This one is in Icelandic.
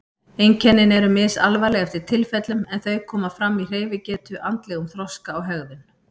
Einkennin eru misalvarleg eftir tilfellum en þau koma fram í hreyfigetu, andlegum þroska og hegðun.